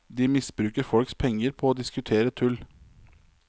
De misbruker folks penger på å diskutere tull.